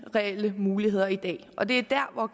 reelt lige muligheder i dag og det er der